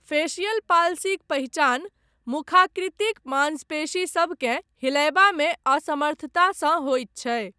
Facial पाल्सीक पहिचान मुखाकृतिक मांसपेशीसभकेँ हिलयबामे असमर्थतासँ होयत छै।